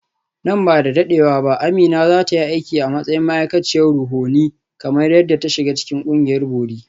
Nan ba da dadewa ba Amina za ta yi aiki a matsayin ma’aikaciyar ruhohi kamar yadda ta shiga cikin ƙungiyar bori.